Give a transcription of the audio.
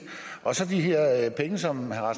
de her penge som